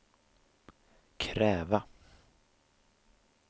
kräva